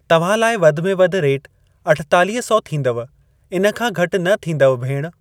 तव्हां लाइ वधि में वधि रेट अठेतालीह सौ थींदव इन खां घटि न थींदउ भेण।